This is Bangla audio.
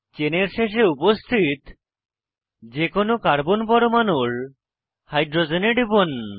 চেনের শেষে উপস্থিত যে কোনো কার্বন পরমাণুর হাইড্রোজেনে টিপুন